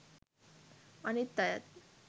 අනිත් අයත්